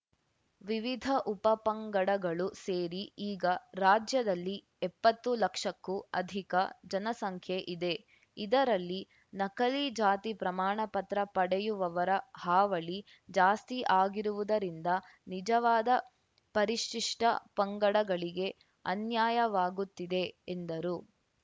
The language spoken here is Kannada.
ವಿವಿಧ ಉಪಪಂಗಡಗಳು ಸೇರಿ ಈಗ ರಾಜ್ಯದಲ್ಲಿ ಎಪ್ಪತ್ತು ಲಕ್ಷಕ್ಕೂ ಅಧಿಕ ಜನಸಂಖ್ಯೆ ಇದೆ ಇದರಲ್ಲಿ ನಕಲಿ ಜಾತಿ ಪ್ರಮಾಣ ಪತ್ರ ಪಡೆಯುವವರ ಹಾವಳಿ ಜಾಸ್ತಿ ಆಗಿರುವುದರಿಂದ ನಿಜವಾದ ಪರಿಶಿಷ್ಟಪಂಗಡಗಳಿಗೆ ಅನ್ಯಾಯವಾಗುತ್ತಿದೆ ಎಂದರು